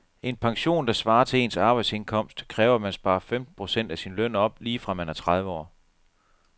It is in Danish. En pension, der svarer til ens arbejdsindkomst, kræver at man sparer femten procent af sin løn op lige fra man er tredive år.